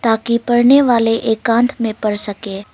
ताकि पढ़ने वाले एकांत में पढ़ सके।